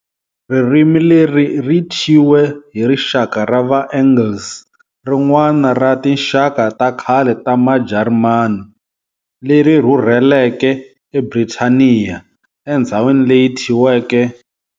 Ririmi leri ri tshyiwe hi rixaka ra Va-Angles, rin'wana ra tinxaka takhale ta maJarimani, leri rhurheleke eBhrithaniya, endhzawini leyi thyiweke.